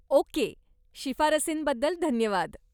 Okay, शिफारसींबद्दल धन्यवाद!